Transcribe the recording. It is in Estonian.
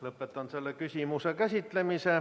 Lõpetan selle küsimuse käsitlemise.